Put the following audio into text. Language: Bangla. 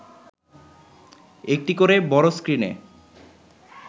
একটি করে বড় স্ক্রিনে